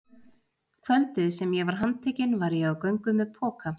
Kvöldið sem ég var handtekinn var ég á göngu með poka.